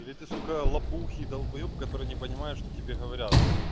или ты сука лопух и долбаёб который не понимает что тебе говорят